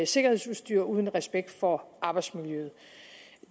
sikkerhedsudstyr uden respekt for arbejdsmiljøet